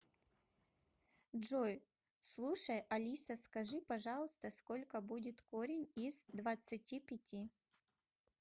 джой слушай алиса скажи пожалуйста сколько будет корень из двадцати пяти